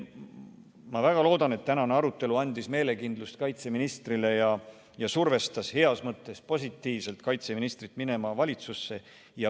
Ma väga loodan, et tänane arutelu andis kaitseministrile meelekindlust ja survestas teda heas mõttes minema valitsusse.